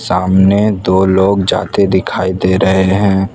सामने दो लोग जाते दिखाई दे रहे हैं।